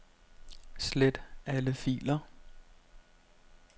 Slet alle filer.